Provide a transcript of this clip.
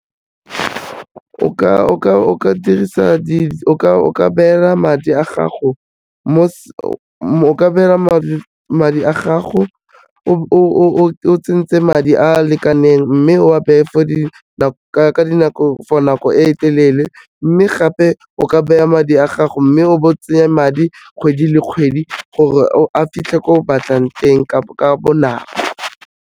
O ka beela madi a gago o tsentse madi a a lekaneng mme o a beye for nako e telele mme gape o ka baya madi a gago mme o be o tsenye madi kgwedi le kgwedi, gore a fitlhe ko o batlang teng ka bonako.